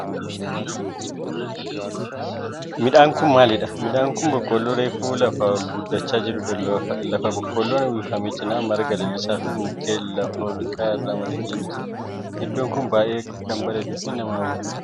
Midhaan kun maalidha? Midhaan kun boqqoolloo reefu lafaa ol guddachaa jirudha. Lafa boqqoolloon uwwifame cinaa marga lalisaa fi mukkeen lafa olka'aa irra marge ni jira. Iddoon kun baayyee kan bareeduu fi nama hawwatudha.